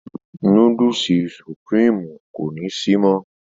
Núdùùsì Sùprììmú kò ni sí mọ.